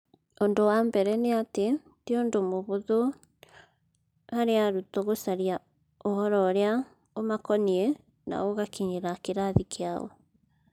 Ũndũ wa mbere nĩ atĩ, ti ũndũ mũhũthũ harĩ arutwo gũcaria ũhoro ũrĩa ũmakoniĩ na ũgakinyĩra kĩrathi kĩao.